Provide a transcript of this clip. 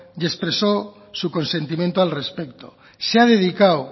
y expresó su consentimiento al respecto se ha dedicado